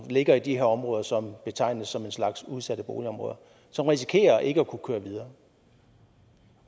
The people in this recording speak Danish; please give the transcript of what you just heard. ligger i de områder som betegnes som en slags udsatte boligområder som risikerer ikke at kunne køre videre